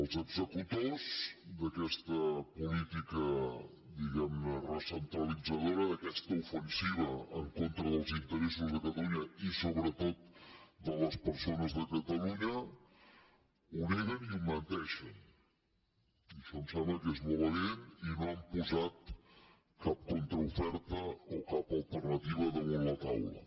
els executors d’aquesta política diguemne recentralitzadora d’aquesta ofensiva en contra dels interessos de catalunya i sobretot de les persones de catalunya ho neguen i menteixen i això em sembla que és molt evident i no han posat cap contraoferta o cap alternativa damunt la taula